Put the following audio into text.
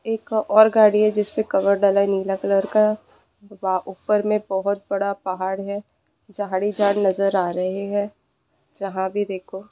एक और गाड़ी है जिस पे कवर डाला हे नीला कलर का बा ऊपर में बहुत बड़ा पाहाड़ है झाड़ ही झड़ नजर आ रहे है जहां भी देखो--